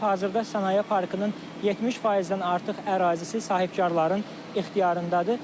Hazırda Sənaye Parkının 70%-dən artıq ərazisi sahibkarların ixtiyarındadır.